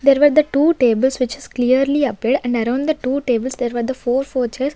there were the two tables which is clearly appeared and around the two tables there was a four four chairs.